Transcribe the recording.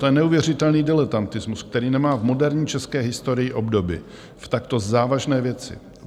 To je neuvěřitelný diletantismus, který nemá v moderní české historii obdoby v takto závažné věci.